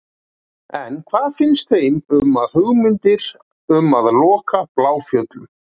En hvað finnst þeim um hugmyndir um að loka Bláfjöllum?